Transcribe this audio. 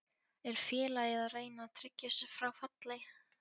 Er félagið að reyna að tryggja sig frá falli?